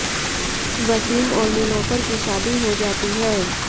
वसीम और निलोफर की शादी हो जाती है